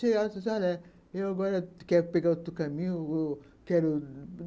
pegar outro caminho